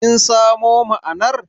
Kin samo na'ana'ar?